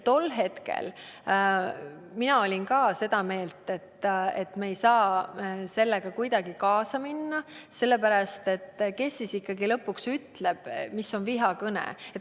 Tol hetkel olin ka mina seda meelt, et me ei saa sellega kuidagi kaasa minna, sellepärast et kes siis lõpuks ikkagi ütleb, mis on vihakõne.